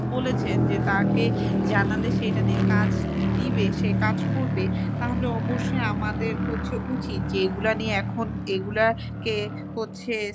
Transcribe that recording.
বলেছেন যে তাকে জানালে সে এটা নিয়ে কাজ নিবে সে কাজ করবে। তাহলে অবশ্যই আমাদের হচ্ছে উচিত যে এগুলা নিয়ে এখন এগুলাকে হচ্ছে,